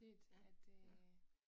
Ja, ja